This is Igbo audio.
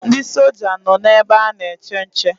Ndị soja nọ na ebe ana-eche nche.